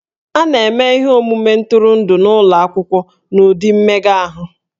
A na-eme ihe omume ntụrụndụ n'ụlọ akwụkwọ n'ụdị mmega ahụ